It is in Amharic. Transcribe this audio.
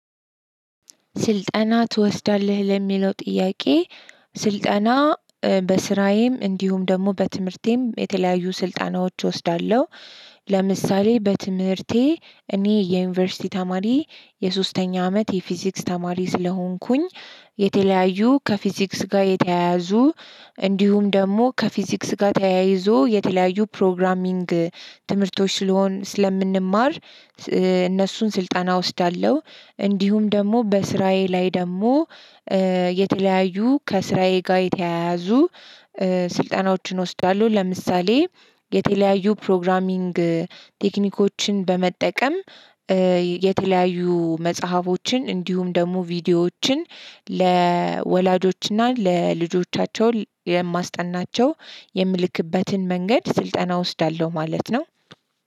ስልጠና ትወስዳለህ ለሚለው ጥያቄ? ስልጠና በስራዬም እንዲሁም ደግሞ በትምህርቴም የተለያዩ ስልጠናዎች እወስዳለሁ። ለምሳሌ በትምህርቴ እኔ የዩኒቨርሲቲ ተማሪ የሶስተኛ አመት የፊዚክስ ተማሪ ስለሆንኩኝ። የተለያዩ ከፊዚክስ ጋር የተያያዙ እንዲሁም ደግሞ ከፊዚክስ ጋር ተያይዞ የተለያዩ ፕሮግራሚንግ ትምህርቶች ስለሆን ስለምንማር እነሱን ስልጣና እወስዳለሁ። እንዲሁም ደግሞ በስራዬ ላይ ደግሞ የተለያዩ ከስራዬ ጋር የተያያዙ ስልጠናዎችን ወስዳለው። ለምሳሌ የተለያዩ ፕሮግራሚንግ ቴክኒኮችን በመጠቀም። የተለያዩ መጽሐፎችን እንዲሁም ደግሞ ቪዲዮዎችን ለወላጆችና ለልጆቻቸው የማስጠናቸው የምልክበትን መንገድ ስልጠና እወስዳለሁ ማለት ነው።